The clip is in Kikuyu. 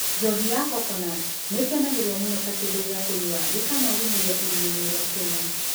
Njohi ya coconut nĩ ĩkenagio mũno ta kĩndũ gĩa kũnyua gĩkamũthũmũria iria-inĩ rĩa Kenya.